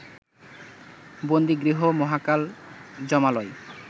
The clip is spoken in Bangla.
বন্দিগৃহ মহাকাল যমালয়